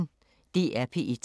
DR P1